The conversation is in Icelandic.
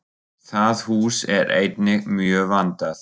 Það hús er einnig mjög vandað.